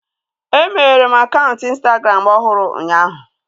E meghere m akaụntụ ịnstagram ọhụrụ ụnyaahụ